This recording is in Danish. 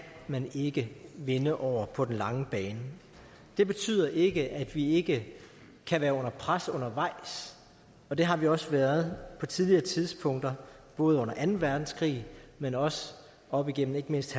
man ikke vinde over på den lange bane det betyder ikke at vi ikke kan være under pres undervejs og det har vi også været på tidligere tidspunkter både under anden verdenskrig men også op igennem ikke mindst